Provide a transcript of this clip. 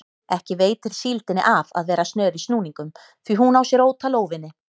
Ekki veitir síldinni af að vera snör í snúningum því hún á sér ótal óvini.